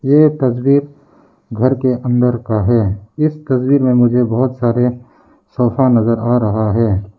ये तस्वीर घर के अंदर का है इस तस्वीर में बहुत सारे सोफा नजर आ रहा है।